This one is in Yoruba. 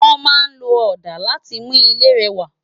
Wòn má n ló òdá làtí mú ilé rèwá